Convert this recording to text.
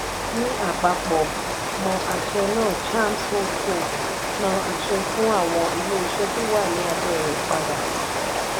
ni ápapọ̀ mo àṣẹ na chams holdco na àṣẹ fún àwọn ilé ìṣe to wá ní abé rẹ padà